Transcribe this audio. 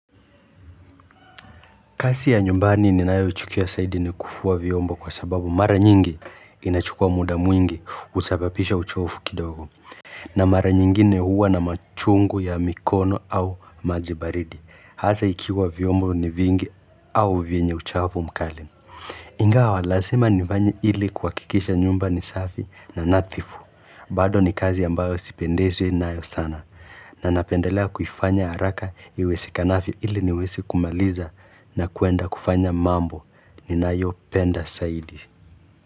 Kasi ya nyumbani ninayochukia zaidi ni kufua vyombo kwa sababu mara nyingi inachukua muda mwingi husababisha uchofu kidogo. Na mara nyingine huwa na machungu ya mikono au maji baridi. Hasaa ikiwa vyomba ni vingi au vienye uchafu mkali. Ingawa, lazima ni vanye ili kuhakikisha nyumba ni safi na nadhifu. Bado ni kazi ambayo sipendezwe nayo sana na napendelea kufanya haraka iwezekanavyo ili niwese kumaliza na kuenda kufanya mambo ni nayopenda saidi.